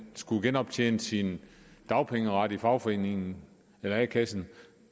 skulle genoptjene sin dagpengeret i fagforeningen eller a kassen